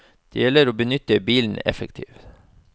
Det gjelder å benytte bilen effektivt.